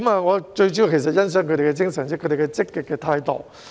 我最主要想說的是，我欣賞他們的精神和積極態度。